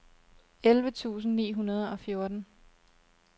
elleve tusind ni hundrede og fjorten